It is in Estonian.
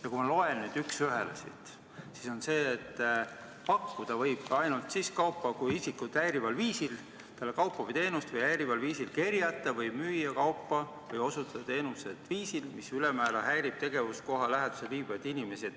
" Ja kui ma loen siit nüüd üks ühele, siis ma näen fraasi: "pakkuda isikut häirival viisil talle kaupa või teenust või häirival viisil kerjata või müüa kaupa või osutada teenust viisil, mis ülemäära häirib tegevuskoha läheduses viibivaid inimesi".